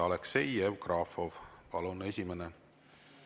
Aleksei Jevgrafov, palun, esimene!